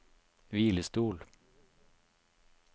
hvilestol